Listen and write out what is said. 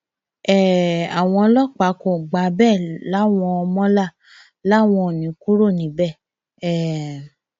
um àwọn ọlọpàá kò gbà bẹẹ láwọn mọlá làwọn ò ní í kúrò níbẹ um